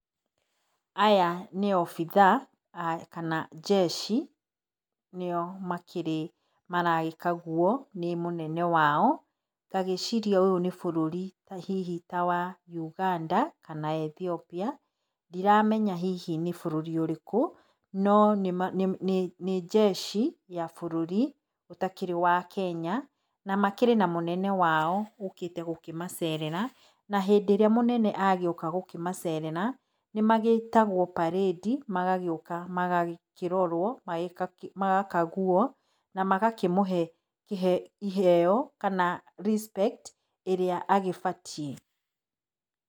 Aya nĩ obitha kana njeci nĩo makĩrĩ maragĩkaguo nĩ mũnene wao. Ngagĩciria ũyũ nĩ bũrũri ta hihi ta wa Uganda kana Ethiopia, ndiramenya hihi nĩ bũrũri ũrĩkũ, no nĩ njeci ya bũrũri ũtakĩrĩ wa Kenya na makĩrĩ na mũnene wao ũkĩte gũkĩmacerera na hĩndĩ ĩrĩa mũnene agĩoka gũkĩmacerera nĩ magĩtagwo parĩndi magagĩũka magakĩrorwo magakaguo na magakĩmũhe ĩheo kana respect ĩrĩa agĩbatiĩ.